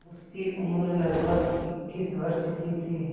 उसकी उम्र लगभग इक्कीस वर्ष की थी